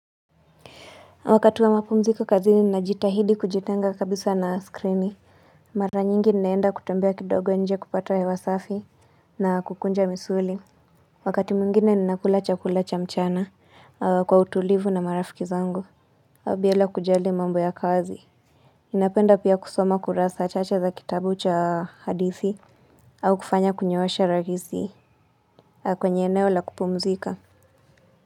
Wakati wa mapumziko kazini najitahidi kujitenga kabisa na skrini mara nyingi naenda kutembea kidogo nje kupata hewa safi na kukunja misuli wakati mwingine ninakula chakula cha mchana kwa utulivu na marafiki zangu bila kujali mambo ya kazi napenda pia kusoma kurasa chache za kitabu cha hadithi au kufanya kunyoosha rahisi kwenye eneo la kupumzika.